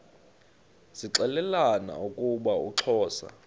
zixelelana ukuba uxhosa